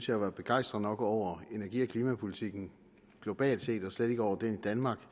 jeg var begejstret nok over energi og klimapolitikken globalt set og slet ikke over den i danmark